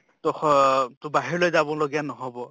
তʼ খ তʼ বাহিৰলৈ যাব লগিয়া নহʼব